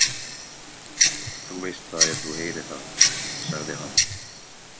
Þú veist það ef þú heyrir það, sagði hann.